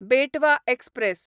बेटवा एक्सप्रॅस